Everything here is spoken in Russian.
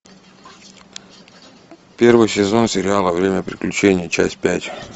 первый сезон сериала время приключений часть пять